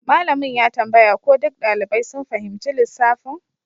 Malamin ya tambaya ko duk ɗalibai sun fahimci lissafin